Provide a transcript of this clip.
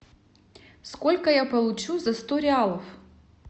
сколько я получу за сто реалов